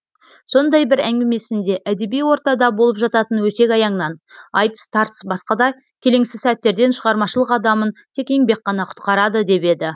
сондай бір әңгімесінде әдеби ортада болып жататын өсек аяңнан айтыс тартыс басқа да келеңсіз сәттерден шығармашылық адамын тек еңбек қана құтқарады деп еді